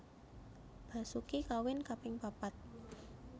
Basoeki kawin kaping papat